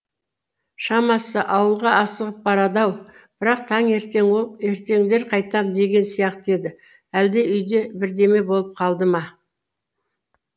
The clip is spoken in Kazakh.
шамасы ауылға асығып барады ау бірақ таңертең ол ертеңдер қайтам деген сияқты еді әлде үйде бірдеме болып қалды ма